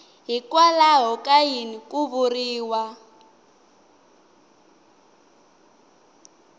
hikwalaho ka yini ku vuriwa